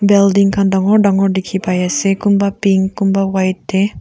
building khan dagur dagur dekhi pai ase kunba pink kunba white te.